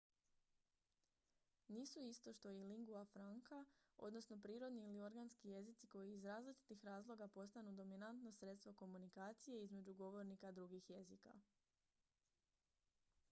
nisu isto što i lingua franca odnosno prirodni ili organski jezici koji iz različitih razloga postanu dominatno sredstvo komunikacije između govornika drugih jezika